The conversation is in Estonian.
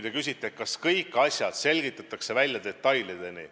Te küsite, kas kõik asjad selgitatakse välja detailideni.